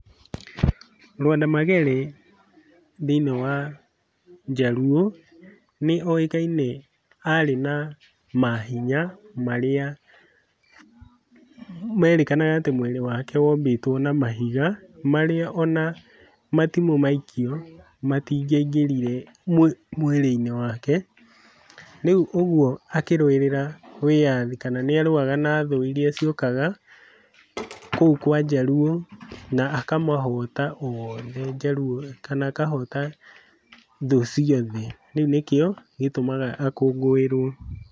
Lwanda Magere thĩiniĩ wa Jaluo, nĩoĩkaine arĩ na mahinya marĩa merĩkanaga atĩ mwĩrĩ wake wombĩtwo na mahiga marĩa ona matimũ maikio matingĩaingĩrire mwĩrĩ-inĩ wake, rĩu ũguo akĩrũĩrĩra wĩyathi kana nĩarũaga na thũ iria ciokaga kũu kwa Jaluo na akamahota oothe Jaluo kana akahota thũ ciothe, rĩu nĩkĩo gĩtũmaga akũngũĩrwo.